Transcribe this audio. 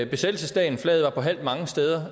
besættelsesdagen og flaget var på halv mange steder